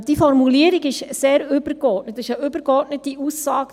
» Dies ist eine übergeordnete Aussage.